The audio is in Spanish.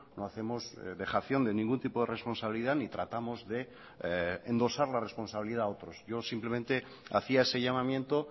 no hacemos dejación de ningún tipo de responsabilidad ni tratamos de endosar la responsabilidad a otros yo simplemente hacía ese llamamiento